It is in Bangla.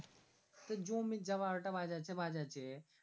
সে জমির যা বারোটা বাজাছে বাজাছে